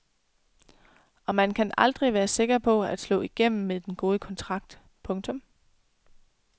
Og man kan aldrig være sikker på at slå igennem med den gode kontrakt. punktum